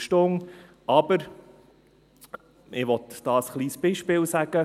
Ich will hier aber ein kleines Beispiel nennen.